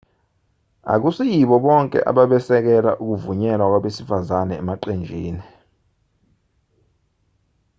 akusiyibo bonke ababesekela ukuvunyelwa kwabesifazane emaqenjini